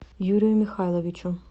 юрию михайловичу